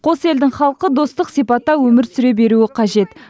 қос елдің халқы достық сипатта өмір сүре беруі қажет